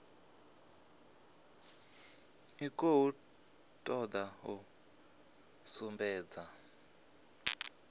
i khou toda u sumbedza